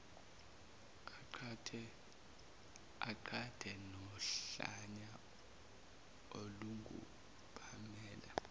amqhathe nohlanya olungupamela